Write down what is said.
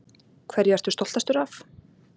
Hverju ertu stoltastur af?